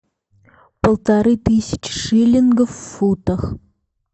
полторы тысячи шиллингов в футах